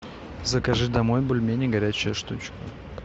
закажи домой бульмени горячая штучка